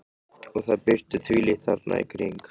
Og það birtir þvílíkt þarna í kring.